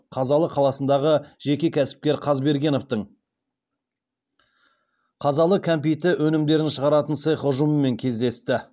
қазалы қаласындағы жеке кәсіпкер қазбергеновтің қазалы кәмпиті өнімдерін шығаратын цех ұжымымен кездесті